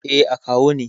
Eh, akawu ne.